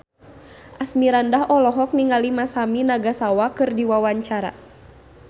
Asmirandah olohok ningali Masami Nagasawa keur diwawancara